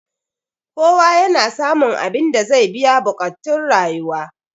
kowa yana samun abinda zai biya buƙactun rayuwa